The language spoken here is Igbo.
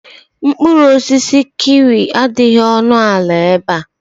Mkpụrụ osisi kiwi adịghị ọnụ ala ebe a.